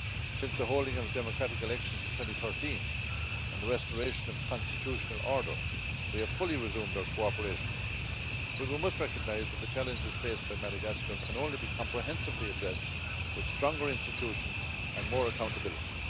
Since the holding of democratic elections in 2013 and the restoration of constitutional order, we have fully resumed our cooperation, but we must recognise that the challenges faced by Madagascar can only be comprehensively addressed with stronger institutions and more accountability.